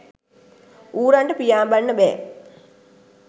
ඌරන්ට පියාඹන්න බෑ